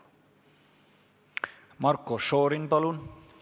Marko Šorin, palun!